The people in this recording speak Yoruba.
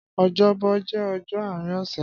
Ọjọbọ jẹ ọjọ aarin ọsẹ